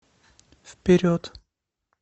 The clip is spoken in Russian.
вперед